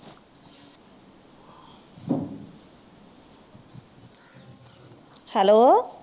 hello